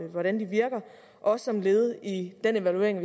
hvordan de virker også som led i den evaluering af